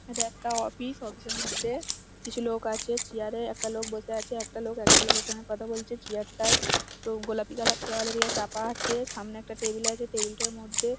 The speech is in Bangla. এটা একটি অফিস । অফিস । এর মধ্যে কিছু লোক আছে। চেয়ার এ একটা লোক বসে আছে। একটা লোক একটা লোকের সাথে কথা বলছে। চেয়ার টায় তো গোলাপি কালার তোয়ালে দিয়ে চাপা আছে। সামনে একটা টেবিল আছে। টেবিল টার মধ্যে--